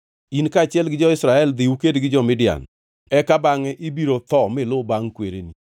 “In kaachiel gi jo-Israel dhi uked gi jo-Midian, eka bangʼe ibiro tho miluw bangʼ kwereni.”